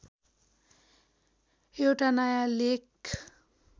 एउटा नयाँ लेख